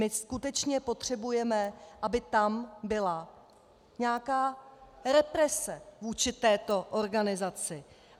My skutečně potřebujeme, aby tam byla nějaká represe vůči této organizaci.